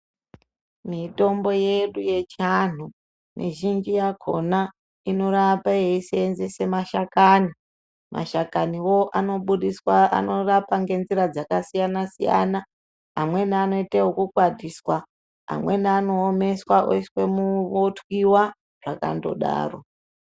Mitombo yedu yechiantu mizhinji yakhona inorape yeiseenzese mashakani. Mashakaniwo anobudiswa anorapa nenzira yakasiyana-siyana. Amweni anoite okukwatiswa. Amweni anoomeswa otwiwa akandodaro.